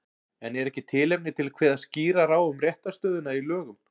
En er ekki tilefni til að kveða skýrar á um réttarstöðuna í lögum?